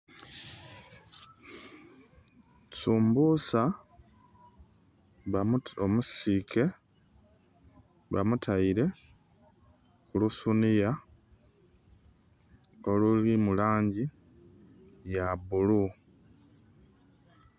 Sumbusa omusiike bamutaire ku lusuniya olulimu langi ya bulu